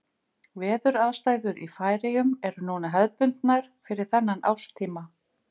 Veðuraðstæður í Færeyjum eru núna hefðbundnar fyrir þennan árstíma.